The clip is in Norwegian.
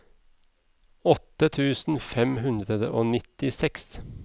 åtte tusen fem hundre og nittiseks